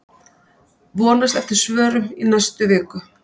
Vonast eftir svörum í næstu viku